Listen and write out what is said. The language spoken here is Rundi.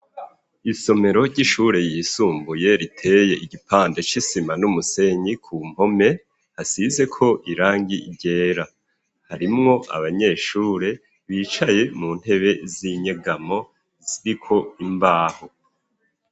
Isomero ry'ishure yisumbuye riteye igipande c'isima n'umusenyi ku mpome hasizeko irangi ryera ,harimwo abanyeshure bicaye mu ntebe z'inyegamo ziriko imbaho.